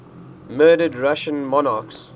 murdered russian monarchs